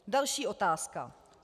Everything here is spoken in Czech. Další otázka.